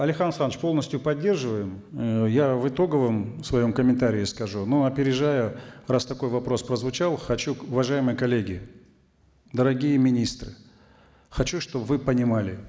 алихан асханович полностью поддерживаем э я в итоговом своем комментарии скажу но опережая раз такой вопрос прозвучал хочу уважаемые коллеги дорогие министры хочу чтобы вы понимали